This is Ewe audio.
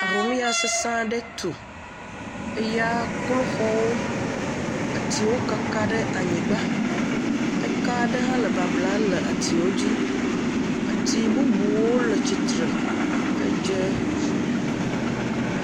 Ahomya sese aɖe tu. Eya klo xɔwo. Atsiwo kaka ɖe anyigba. Eka ɖe hã le babla le atsiwo dzi. Atsi bubuwo le tsitre. Eɖe…